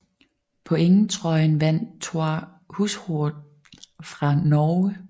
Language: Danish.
Pointtrøjen vandt Thor Hushovd fra Norge